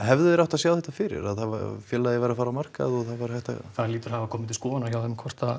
hefðu þeir átt að sjá þetta fyrir að félagið væri að fara á markað og það væri hægt að sjá það hlýtur að hafa komið til skoðunnar hjá þeim